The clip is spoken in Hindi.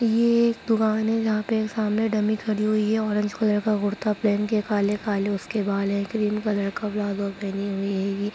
एक दुकान है जहां पर सामने एक डमी खड़ी हुई है ऑरेंज कलर का कुर्ता पहन के काले-काले उसके बाल हैं क्रीम कलर का प्लाजो पहनी हुई है ये -----